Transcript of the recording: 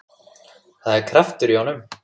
Það er kraftur í honum.